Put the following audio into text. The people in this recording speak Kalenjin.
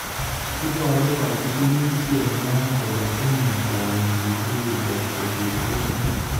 Iboru kachigilisyet nywa kole tinye kwonyiik rirge kosir murenik